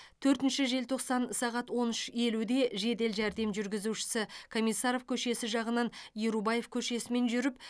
төртінші желтоқсан сағат он үш елуде жедел жәрдем жүргізушісі комиссаров көшесі жағынан ерубаев көшесімен жүріп